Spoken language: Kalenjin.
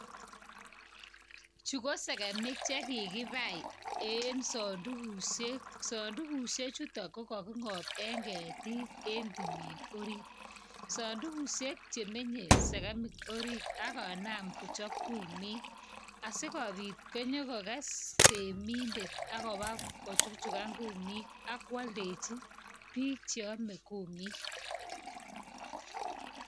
Chu ko segemik che kikipai en sandugusiek. Sandugusie chuton ko kagingop eng ketik en timin orit. Sandugusiek che menye segemik orit ak konam kochop kumik asigopit konyogoges temindet ak koba kochuchugan kumik ak koaldechi biik che ame kumik.